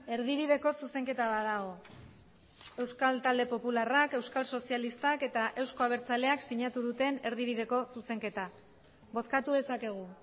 erdibideko zuzenketa bat dago euskal talde popularrak euskal sozialistak eta euzko abertzaleak sinatu duten erdibideko zuzenketa bozkatu dezakegu